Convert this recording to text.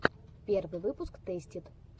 первый выпуск тэстид